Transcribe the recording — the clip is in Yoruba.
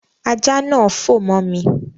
Ajá náà fò mọ́ mi